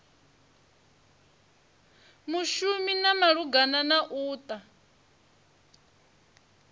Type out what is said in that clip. mushumi malugana na u ta